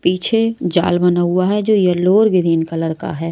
पीछे जाल बना हुआ हैजो येलो और ग्रीन कलर का है।